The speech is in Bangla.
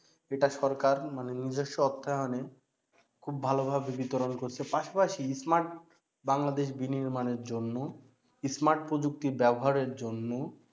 এটার সরকার মানে নিজস্ব অর্থায়নে খুব ভালোভাবে বিতরন করছে পাশাপাশি smart বাংলাদেশ বিনির্মানের জন্য smart প্রযুক্তির ব্যাবহারে জন্য